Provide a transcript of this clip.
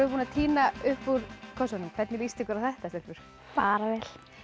búnar að tína upp úr kössunum hvernig líst ykkur á þetta stelpur bara